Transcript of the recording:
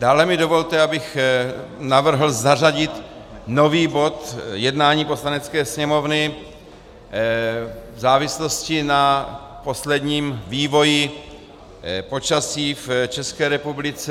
Dále mi dovolte, abych navrhl zařadit nový bod jednání Poslanecké sněmovny v závislosti na posledním vývoji počasí v České republice.